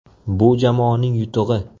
Bu jamoaning yutug‘i.